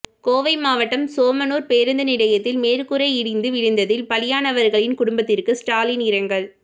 கோவை மாவட்டம் சோமனூர் பேருந்து நிலையத்தில் மேற்கூரை இடிந்து விழுந்ததில் பலியானவர்களின் குடும்பத்திற்கு ஸ்டாலின் இரங்கல்